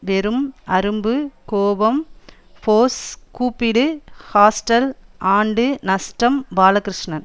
வெறும் அரும்பு கோபம் ஃபோர்ஸ் கூப்பிடு ஹாஸ்டல் ஆண்டு நஷ்டம் பாலகிருஷ்ணன்